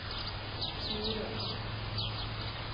Florø